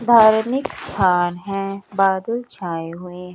धार्मिक स्थान है बादल छाए हुए--